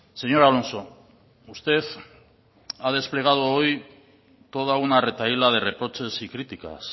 señor alonso usted ha desplegado hoy toda una retahíla de reproches y críticas